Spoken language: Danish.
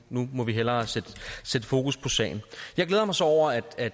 nu må vi hellere sætte fokus på sagen jeg glæder mig så over at